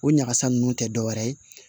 O ɲagasa nunnu tɛ dɔ wɛrɛ ye